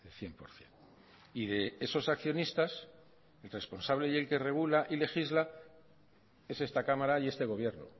cien por ciento y de esos accionistas el responsable y el que regula y legisla es esta cámara y este gobierno